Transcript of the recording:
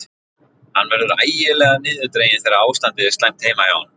Hann verður ægilega niðurdreginn þegar ástandið er slæmt heima hjá honum.